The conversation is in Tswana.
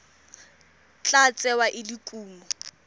tla tsewa e le kumo